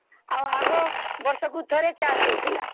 ଆଉ ଆଗ ବର୍ଷକୁ ଥରେ ଚାଷ ହଉଥିଲା